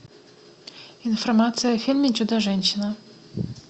информация о фильме чудо женщина